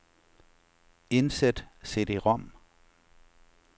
Indsæt cd-rom.